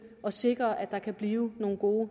og sikre at der kan blive nogle gode